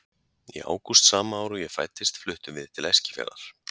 Í ágúst sama ár og ég fæddist fluttumst við til Eskifjarðar.